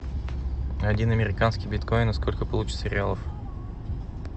один американский биткоин сколько получится реалов